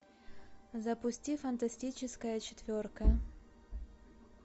запусти фантастическая четверка